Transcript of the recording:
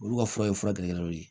Olu ka fura ye fura gɛrɛgɛrɛ dɔ ye